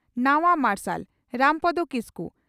ᱱᱟᱣᱟ ᱢᱟᱨᱥᱟᱞ (ᱨᱟᱢᱯᱚᱫᱚ ᱠᱤᱥᱠᱩ)